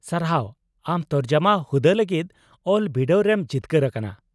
ᱥᱟᱨᱦᱟᱣ ! ᱟᱢ ᱛᱚᱨᱡᱚᱢᱟ ᱦᱩᱫᱟᱹ ᱞᱟᱹᱜᱤᱫ ᱚᱞ ᱵᱤᱰᱟᱹᱣ ᱨᱮᱢ ᱡᱤᱛᱠᱟᱹᱨ ᱟᱠᱟᱱᱟ ᱾